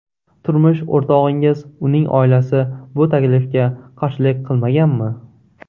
Turmush o‘rtog‘ingiz, uning oilasi bu taklifga qarshilik qilmaganmi?